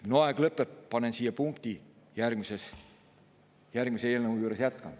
Minu aeg lõpeb, panen siia punkti, järgmise eelnõu juures jätkan.